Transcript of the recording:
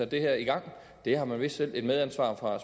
det her i gang det har man vist selv et medansvar for